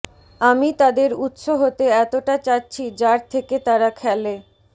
আমি তাদের উত্স হতে এতটা চাচ্ছি যার থেকে তারা খেলে